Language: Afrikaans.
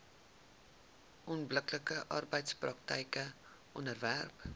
onbillike arbeidspraktyke onderwerp